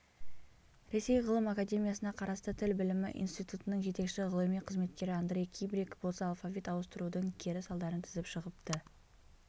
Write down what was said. ресей ғылым академиясына қарасты тіл білімі институтының жетекші ғылыми қызметкері андрей кибрик болса алфавит ауыстырудың кері салдарын тізіп шығыпты